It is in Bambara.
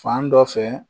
Fan dɔ fɛ